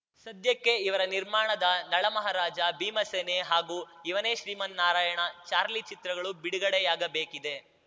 ಸದ್ಯಕ್ಕೆ ಇವರ ನಿರ್ಮಾಣದ ನಳಮಹರಾಜ ಭೀಮಸೇನೆ ಹಾಗೂ ಅವನೇ ಶ್ರೀಮನ್ನಾರಾಯಣ ಚಾರ್ಲಿ ಚಿತ್ರಗಳು ಬಿಡುಗಡೆಯಾಗಬೇಕಿದೆ